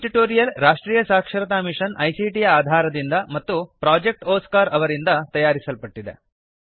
ಈ ಟ್ಯುಟೋರಿಯಲ್ ರಾಷ್ಟ್ರೀಯ ಸಾಕ್ಷರತಾ ಮಿಶನ್ ಐಸಿಟಿ ಯ ಆಧಾರದಿಂದ ಮತ್ತು ಪ್ರೊಜೆಕ್ಟ್ ಒಸ್ಕಾರ್ ಅವರಿಂದ ತಯಾರಿಸಲ್ಪಟ್ಟಿದೆ